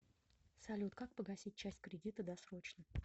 салют как погасить часть кредита досрочно